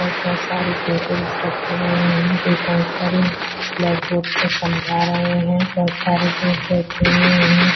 बहोत सारी टेबल्स रखी हुई हैं एक अंकल ब्लैक बोर्ड पर समझा रहे हैं बहोत सारे लोग बैठे हुए हैं।